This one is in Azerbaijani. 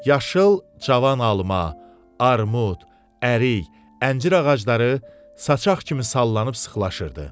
Yaşıl cavan alma, armud, ərik, əncir ağacları saçaq kimi sallanıb sıxlaşırdı.